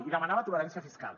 i demanava tolerància fiscal